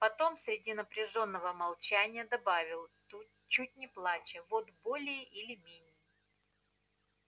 потом среди напряжённого молчания добавил тут чуть не плача вот более или менее